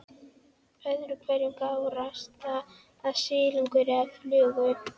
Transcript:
Öðru hverju gárast það af silungi eða flugu.